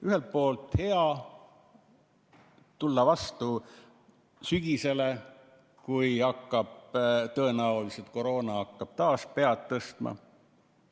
Ühelt poolt on hea minna vastu sügisele, kui tõenäoliselt hakkab koroona taas pead tõstma.